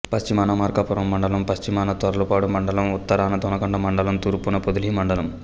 పశ్చిమాన మార్కాపురం మండలం పశ్చిమాన తర్లుపాడు మండలం ఉత్తరాన దొనకొండ మండలం తూర్పున పొదిలి మండలం